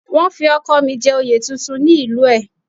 Wọ́n fi ọkọ̀ mi jẹ oyè tuntun ní ìlú ẹ̀